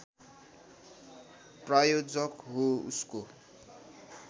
प्रायोजक हो उसको